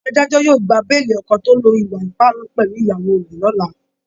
Adájọ́ yóò gba béèlì ọkọ tó lo ìwà ipá pẹ̀lú ìyàwó rẹ̀ lọla